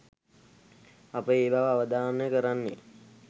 අප ඒ බව අවධාරණය කරන්නේ